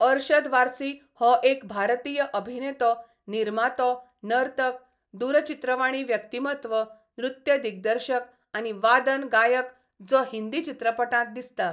अरशद वार्सी हो एक भारतीय अभिनेतो, निर्मातो, नर्तक, दूरचित्रवाणी व्यक्तीमत्व, नृत्य दिग्दर्शक आनी वादन गायक जो हिंदी चित्रपटांत दिसता.